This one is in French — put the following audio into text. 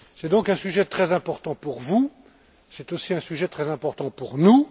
C'est donc un sujet très important pour vous, c'est aussi un sujet très important pour nous.